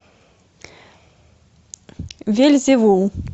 вельзевул